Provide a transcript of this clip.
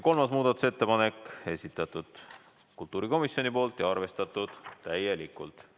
Kolmas muudatusettepanek, esitanud kultuurikomisjon ja arvestatud täielikult.